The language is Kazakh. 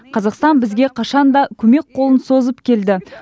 қазақстан бізге қашанда көмек қолын созып келді